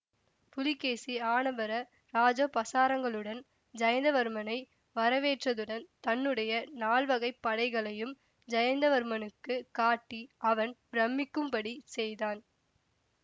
புலிகேசி ஆனபர இராஜோபசாரங்களுடன் ஜயந்தவர்மனை வரவேற்றதுடன் தன்னுடைய நால்வகைப் படைகளையும் ஜயந்தவர்மனுக்குக் காட்டி அவன் பிரமிக்கும்படி செய்தான்